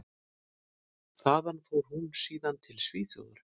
Þaðan fór hún síðan út til Svíþjóðar.